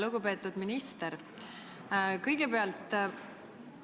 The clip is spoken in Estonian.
Lugupeetud minister!